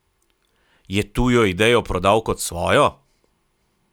Je tujo idejo prodal kot svojo?